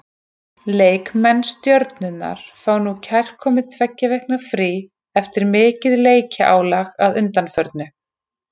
Leikmenn Stjörnunnar fá núna kærkomið tveggja vikna frí eftir mikið leikjaálag að undanförnu.